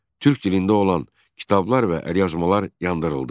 Türk dilində olan kitablar və əlyazmalar yandırıldı.